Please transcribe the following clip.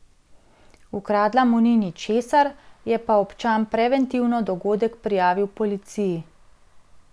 Ukradla mu ni ničesar, je pa občan preventivno dogodek prijavil policiji.